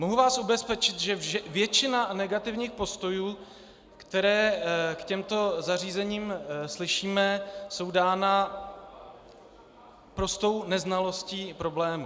Mohu vás ubezpečit, že většina negativních postojů, které k těmto zařízením slyšíme, je dána prostou neznalostí problému.